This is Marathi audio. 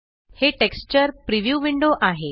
हे टेक्स्चर प्रिव्ह्यू विंडो आहे